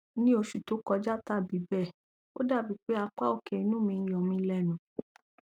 ní oṣù tó kọjá tàbí bẹẹ o dàbí pé apá òkè inu mi yomilenu